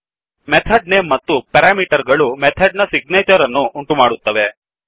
method name ಮತ್ತು parameter ಗಳು method ನ ಸಿಗ್ನೇಚರ್ ಅನ್ನು ಉಂಟುಮಾಡುತ್ತವೆ